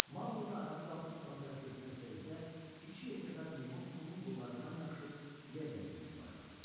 Maquli də ayağa qalxıb ona tərəf getmək istədikdə, iki yekəpər meymun onun qollarından yapışıb yerlə sürməyə başladı.